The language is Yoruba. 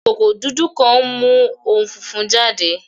Ikoko dudu kan nmu ounjẹ funfun jade